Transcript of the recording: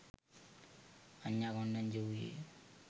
අඤ්ඤා කොණ්ඩඤ්ඤා වූයේ